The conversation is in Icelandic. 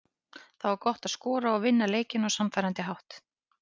Það var gott að skora og vinna leikinn á sannfærandi hátt.